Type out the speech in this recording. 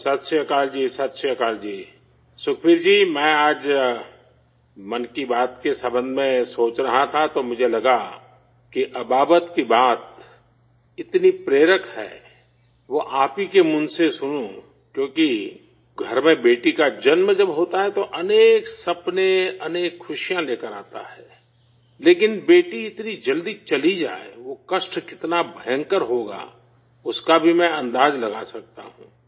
ست شری اکال جی، ست شری اکال جی، سکھبیر جی میں آج 'من کی بات' کے بارے میں سوچ رہا تھا تو مجھے لگا کہ ابابت کی بات اتنی حوصلہ افزا ہے وہ آپ ہی کے منہ سے سنوں کیوں کہ گھر میں بیٹی کی پیدائش جب ہوتی ہے تو کئی خواب کئی خوشیاں لے کر آتی ہے، لیکن بیٹی اتنی جلدی چلی جائے وہ درد کتنا خطرناک ہوگا اس کا بھی میں اندازہ لگا سکتا ہوں